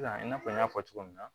I n'a fɔ n y'a fɔ cogo min na